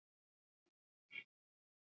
LÁRUS: Farðu um bæinn!